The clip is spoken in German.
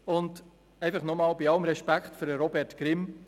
Und einfach noch einmal: Bei allem Respekt für Robert Grimm: